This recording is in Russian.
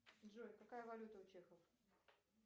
джой какая валюта у чехов